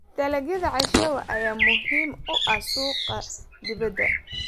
Dalagyada cashew ayaa muhiim u ah suuqa dibadda.